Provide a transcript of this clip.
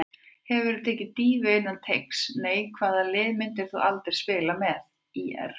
Hefurðu tekið dýfu innan teigs: Nei Hvaða liði myndir þú aldrei spila með: ÍR